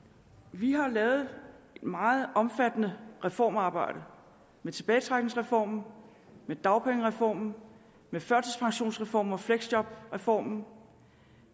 vi har lavet et meget omfattende reformarbejde med tilbagetrækningsreformen med dagpengereformen med førtidspensionsreformen og fleksjobreformen og